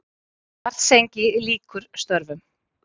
Svartsengi lýkur störfum.